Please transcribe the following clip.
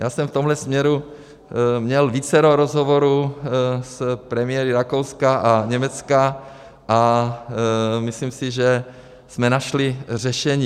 Já jsem v tomto směru měl vícero rozhovorů s premiéry Rakouska a Německa a myslím si, že jsme našli řešení.